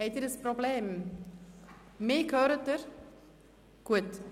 Besteht ein Problem oder hören Sie mich?